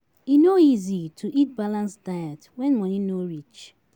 E no easy to eat balance diet when money no reach